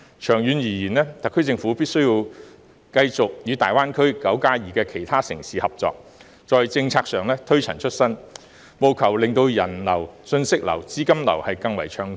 長遠而言，特區政府必須繼續與大灣區"九加二"的其他城市合作，在政策上推陳出新，務求令人流、信息流和資金流更為暢通。